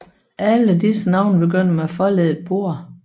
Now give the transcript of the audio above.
Alle disse navne begynder med forleddet Borre